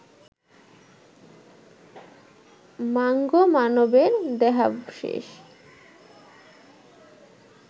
mango মানবের দেহাবশেষ